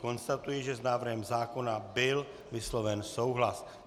Konstatuji, že s návrhem zákona byl vysloven souhlas.